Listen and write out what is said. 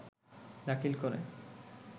দাখিল করে